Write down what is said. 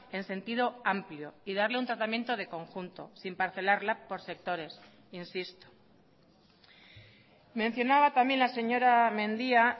en sentido amplio y darle un tratamiento de conjunto sin parcelarla por sectores insisto mencionaba también la señora mendia